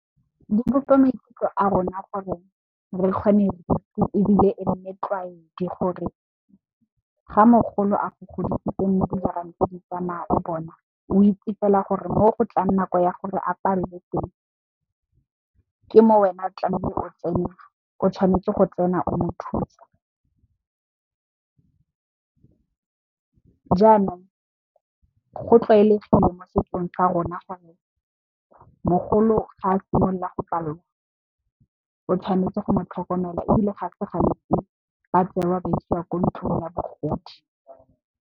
Di bopa maikutlo a rona gore re kgone bodutu ebile, e nne tlwaedi gore ga mogolo a go godisitse mo dijareng ntse di tsamaya o bona o itse fela gore mo go tlang nako ya gore apallwe teng ke mo wena tlamehile o tsena. O tshwanetse go tsena o mo thusa, jaanong, go tlwaelegile mo setsong sa rona gore mogolo ga a simolola go palelwa o tshwanetse go motlhokomela ebile ga se gantsi ba tsewa ba isiwa ko ntlong ya bogodi.